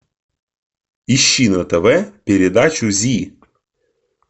ищи на тв передачу зи